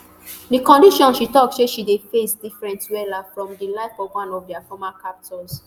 di conditions she tok say she dey face different wella from di life of one of dia former captors